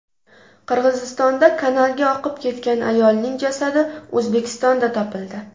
Qirg‘izistonda kanalga oqib ketgan ayolning jasadi O‘zbekistonda topildi.